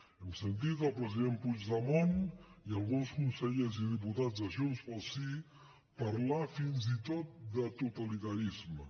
hem sentit el president puigdemont i alguns consellers i diputats de junts pel sí parlar fins i tot de totalitarisme